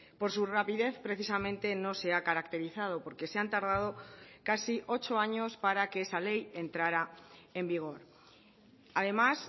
por su rapidez precisamente no se ha caracterizado porque se han tardado casi ocho años para que esa ley entrara en vigor además